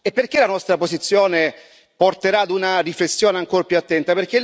E perché la nostra posizione porterà ad una riflessione ancor più attenta?